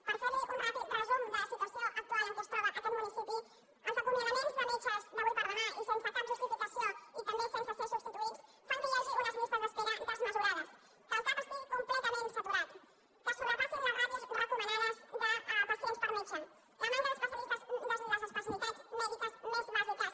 per fer li un ràpid resum de la situació actual en què es troba aquest municipi els acomiadaments de metges d’avui per demà i sense cap justificació i també sense ser substituïts fan que hi hagi unes llistes d’espera desmesurades que el cap estigui completament saturat que es sobrepassin les ràtios recomanades de pacients per metge la manca de les especialitats mèdiques més bàsiques